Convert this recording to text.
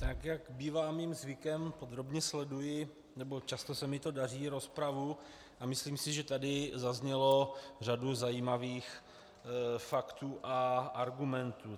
Tak jak bývá mým zvykem, podrobně sleduji, nebo často se mi to daří, rozpravu a myslím si, že tady zazněla řada zajímavých faktů a argumentů.